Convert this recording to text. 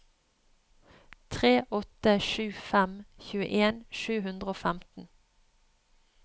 tre åtte sju fem tjueen sju hundre og femten